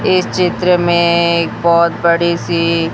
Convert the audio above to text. इस चित्र में एक बहुत बड़ी सी--